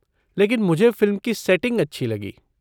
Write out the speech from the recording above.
लेकिन मुझे फ़िल्म की सेटिंग अच्छी लगी।